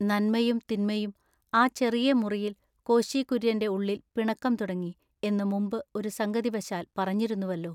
നന്മയും തിന്മയും ആ ചെറിയ മുറിയിൽ കോശി കുര്യന്റെ ഉള്ളിൽ പിണക്കം തുടങ്ങി എന്നു മുമ്പു ഒരു സംഗതിവശാൽ പറഞ്ഞിരുന്നുവെല്ലൊ.